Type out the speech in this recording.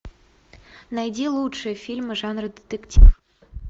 найди лучшие фильмы жанра детектив